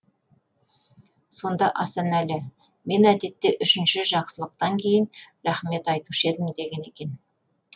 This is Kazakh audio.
сонда асанәлі мен әдетте үшінші жақсылықтан кейін рахмет айтушы едім деген екен